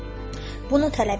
"Bunu tələb edir."